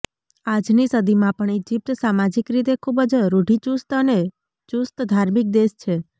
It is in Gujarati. આજની સદીમાં પણ ઈજીપ્ત સામાજીક રીતે ખૂબ જ રૂઢીચૂસ્ત અને ચૂસ્ત ધાર્મિક દેશ છે